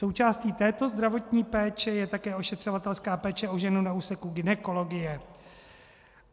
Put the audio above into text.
Součástí této zdravotní péče je také ošetřovatelská péče o ženu na úseku gynekologie.